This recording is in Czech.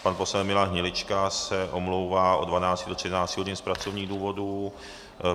Pan poslanec Milan Hnilička se omlouvá od 12.00 do 13.00 hodin z pracovních důvodů.